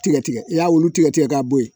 Tigɛ tigɛ i y'a wulu tigɛ tigɛ k'a bɔ yen